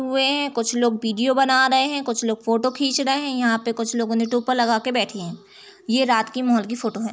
हुए हैं कुछ लोग वीडियो बना रहे हैं कुछ लोग फोटो खींच रहे हैं यहां पे कुछ लोगों ने टोपा लगाकर बैठे हैं ये रात के मोहोल की फोटो है।